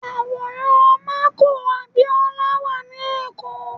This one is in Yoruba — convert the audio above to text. Àwòrán MKO Abiola wà ní èkó